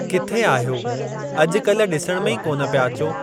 किथे आहियो अॼु कल्ह, डि॒सण में ई कोन पिया अचो?